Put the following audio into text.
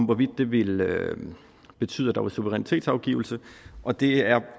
hvorvidt det ville betyde at der var suverænitetsafgivelse og det er